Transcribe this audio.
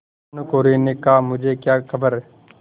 भानुकुँवरि ने कहामुझे क्या खबर